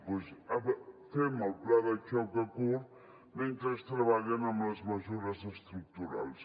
doncs fem el pla de xoc a curt mentre treballen amb les mesures estructurals